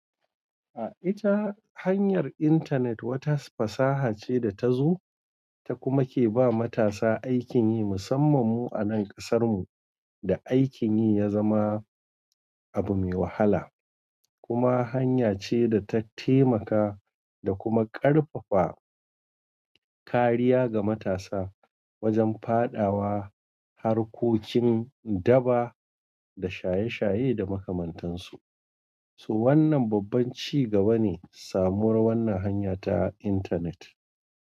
A ita hanyar intanet wata fasaha ce da ta zo ta kuma ke ba matasa aikin yi musamman mu a nan kasar mu da aikin yi ya zama abu mai wahala. Kuma hanya ce da ta taimaka da kuma karfafa kariya ga matasa wajen fadawa harkokin daba da shaye-shaye da makamantansu. To wanna babban ci gaba ne samuwar wannan hanya ta intanet.